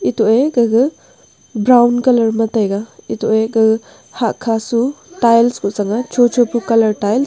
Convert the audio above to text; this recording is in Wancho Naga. toye gaga brown colour ma taiga etoye ga hah kha su tiles kuh sang a cho cho pu colour tile.